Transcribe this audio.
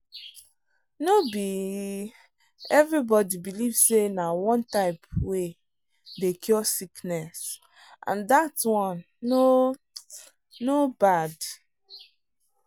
no be everybody believe say na one type way dey cure sickness and that one no no bad.